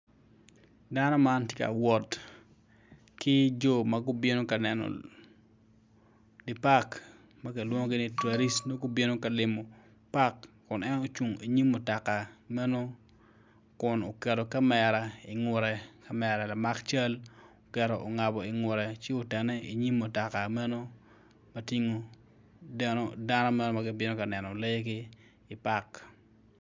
Dano man ti ka wot ki jo ma gubino ka neno di pakkilwongogi ni twaric nongo gubino ka limo pak kun en ocung inyim mutoka meno kun oketo kamera ingute kamera lamak cal oketo ongabo ingute ci otene i mutoka meno matingo dano meno ma gibino ka neno lee ki i pak